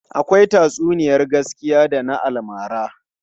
Akwai tatsuniyar gaskiya da na almara.